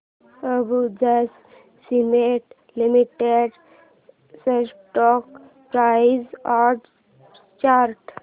Ambuja cement limited stock price and chart